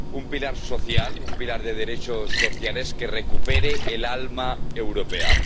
Un pilar social, un pilar de derechos sociales que recupere el alma europea